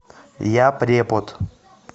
я препод